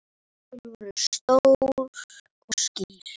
Augun voru stór og skýr.